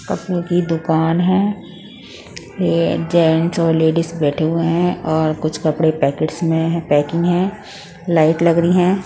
कपड़े की दुकान है ये जेंट्स और लेडीस बैठे हुए है और कुछ कपड़े पैकेट में है पैकिंग है लाइट लग रही है।